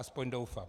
Aspoň doufám.